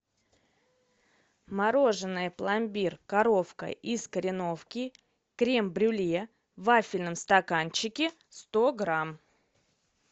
мороженое пломбир коровка из кореновки крем брюле в вафельном стаканчике сто грамм